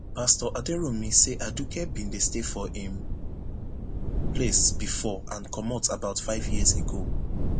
pastor aderounmu say aduke bin dey stay for im place bifor and comot about five years ago